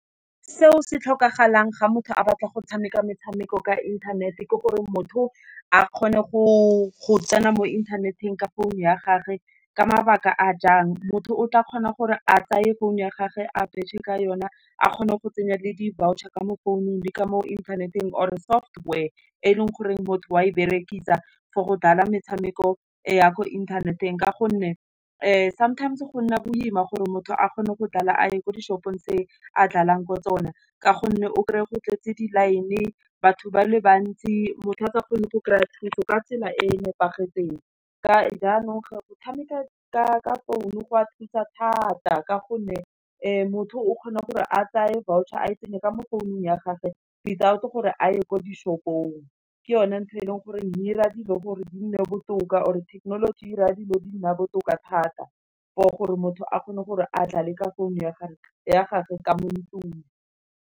Seo se tlhokagalang ga motho a batla go tshameka metshameko ka inthanete, ke gore motho, a kgone go tsena mo inthaneteng ka phone ya gage, ka mabaka a jang, motho o tla kgona gore a tsaye phone ya gage a betšhe ka yona, a kgone go tsenya le di-voucher ka mo founung le ka mo inthaneteng or e software, e leng goreng motho wa e berekisa for go dlala metshameko ya mo inthaneteng. Ka gonne sometimes go nna boima gore motho a kgone go dlala a ye ko di shopong tse a dlalang ko tsona. Ka gonne o krey-e go tlwaetse di-line-e, batho ba le bantsi, motho a sa kgone go kry-a thuso ka tsela e nepagetseng. Ka jaanong go tshameka ka founu go a thusa thata, ka gonne motho o kgona gore a tseye voucher a tsenye ka mo founung ya gagwe without gore a ye ko di shopong ke yone ntho e leng gore ira dilo gore di nne botoka, or e thekenoloji ira dilo di nna botoka thata, for gore motho a kgone gore a dlale ka founu ya gagwe ka mo ntlung.